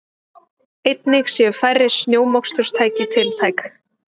Einnig séu færri snjómoksturstæki tiltæk